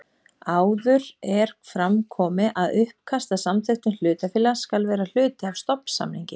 Áður er fram komið að uppkast að samþykktum hlutafélags skal vera hluti af stofnsamningi.